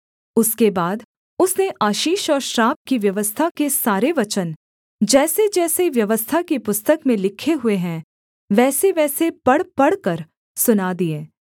उसके बाद उसने आशीष और श्राप की व्यवस्था के सारे वचन जैसेजैसे व्यवस्था की पुस्तक में लिखे हुए हैं वैसेवैसे पढ़ पढ़कर सुना दिए